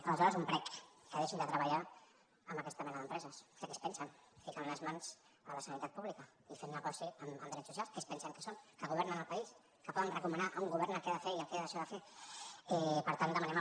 aleshores un prec que deixin de treballar amb aquesta mena d’empreses que què es pensen ficant les mans a la sanitat pública i fent negoci amb drets socials què es pensen que són que governen el país que poden recomanar a un govern el que ha de fer i el que ha de deixar de fer per tant demanem al